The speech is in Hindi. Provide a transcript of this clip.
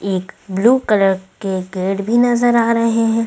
एक ब्लू कलर के गेट भी नजर आ रहे हैं।